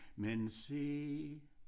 Men se